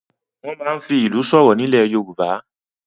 Wọ́n máa ń fi ìlù sọ̀rọ̀ nílẹ̀ Yorùbá.